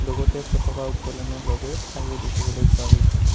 লগতে পতকা উত্তোলনৰ বাবেও ঠাইও দেখিবলৈ পোৱা গৈছে।